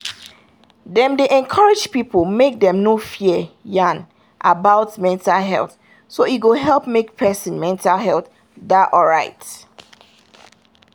dem dey encourage people make dem no fear yan about mental health so e go help make person mental health da alright